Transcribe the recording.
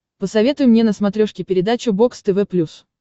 посоветуй мне на смотрешке передачу бокс тв плюс